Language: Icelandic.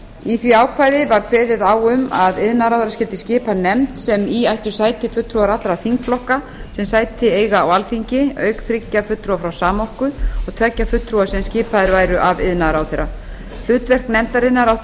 í því ákvæði var kveðið á um að iðnaðarráðherra skyldi skipa nefnd sem í ættu sæti fulltrúar allra þingflokka sem sæti eiga á alþingi auk þriggja fulltrúa frá samorku og tveggja fulltrúa sem skipaðir væru af iðnaðarráðherra hlutverk nefndarinnar átti að